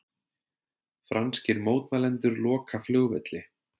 Franskir mótmælendur loka flugvelli